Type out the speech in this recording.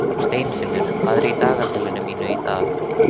Steinfinnur, hvað er í dagatalinu mínu í dag?